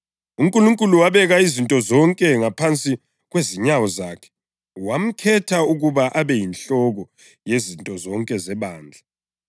phezu kokubusa konke lobukhosi, amandla kanye lombuso, lamabizo wonke angatshiwo, kungayisikho kwalesisikhathi kuphela kodwa lakuleso esizayo.